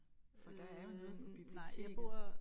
For der er jo noget på biblioteket